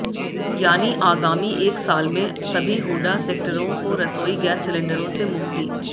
यानी आगामी एक साल में सभी हूडा सेक्टरों को रसोई गैस सिलेंडरों से मुक्ति